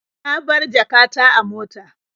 Na bar jaka ta a mota.